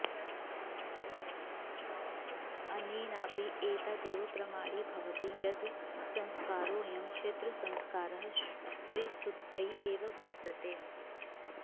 अनेनापि एतदेव प्रमाणीभवति यत् संस्कारोऽयं क्षेत्रसंस्कारः स्त्रीशुध्दयै एव वर्तते